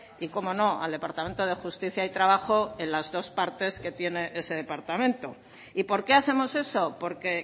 y cómo no al departamento de justicia y trabajo en las dos partes que tiene ese departamento y por qué hacemos eso porque